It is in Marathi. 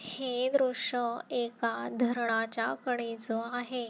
हे दृश्य एका धरणाच्या कडेच आहे.